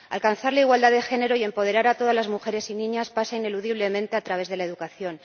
Alcanzar la igualdad de género y empoderar a todas las mujeres y niñas pasa ineludiblemente por la educación.